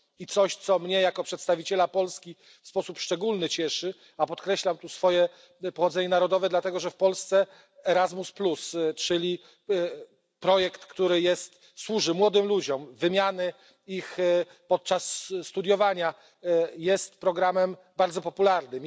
I coś, co mnie jako przedstawiciela Polski w sposób szczególny cieszy, a podkreślam tu swoje pochodzenie narodowe, dlatego że w Polsce Erasmus, czyli projekt wymiany, który służy młodym ludziom podczas studiowania, jest programem bardzo popularnym.